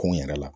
Ko n yɛrɛ la